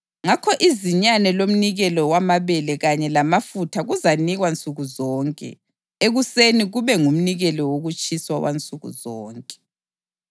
Ngakho izinyane lomnikelo wamabele kanye lamafutha kuzanikwa nsuku zonke ekuseni kube ngumnikelo wokutshiswa wansuku zonke.